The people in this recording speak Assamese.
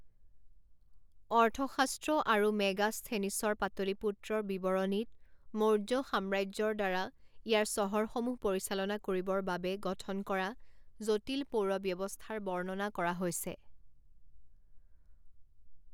অৰ্থশাস্ত্ৰ আৰু মেগাস্থেনিছৰ পাটলীপুত্ৰৰ বিৱৰণীত মৌৰ্য সাম্ৰাজ্যৰদ্বাৰা ইয়াৰ চহৰসমূহ পৰিচালনা কৰিবৰ বাবে গঠন কৰা জটিল পৌৰ ব্যৱস্থাৰ বৰ্ণনা কৰা হৈছে।